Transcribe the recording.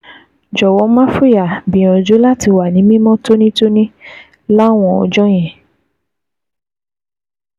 Jọ̀wọ́, má fòyà; gbìyànjú láti wà ní mímọ́ tónítóní láwọn ọjọ́ yẹn